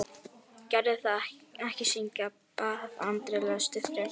Gerðu það ekki syngja, bað Andri, lestu frekar.